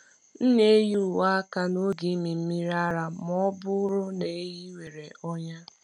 M na-eyi uwe aka n’oge ịmị mmiri ara ma ọ bụrụ na ehi nwere ọnya.